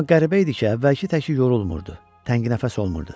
Amma qəribə idi ki, əvvəlki təki yorulmurdu, təngnəfəs olmurdu.